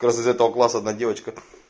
как раз из этого класса одна девочка